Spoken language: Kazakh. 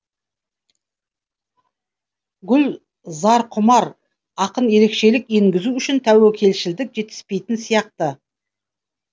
гүл зарқұмар ақын ерекшелік енгізу үшін тәуекелшілдік жетіспейтін сияқты